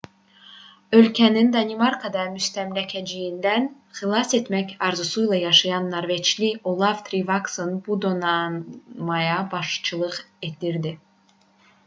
ölkəsini danimarka müstəmləkəçiliyindən xilas etmək arzusuyla yaşayan norveçli olav triqvason bu donanmaya başçılıq edirdi